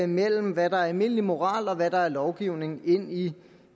mellem hvad der er almindelig moral og hvad der er lovgivning ind i